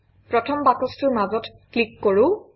প্ৰথম বাকচটোৰ মাজত ক্লিক কৰোঁ